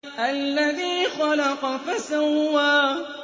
الَّذِي خَلَقَ فَسَوَّىٰ